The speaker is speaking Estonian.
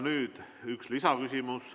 Nüüd üks lisaküsimus.